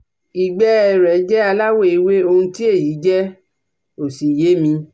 Ìgbẹ́ ẹ rẹ̀ jẹ́ aláwọ̀ ewé, ohun tí èyí jẹ́ ò sì yé mi